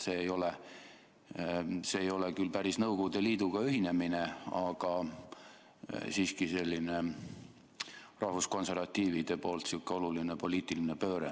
See ei ole küll päris Nõukogude Liiduga ühinemine, aga siiski rahvuskonservatiivide poolt sihuke oluline poliitiline pööre.